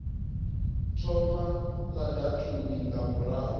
thoma la datumu nga murahu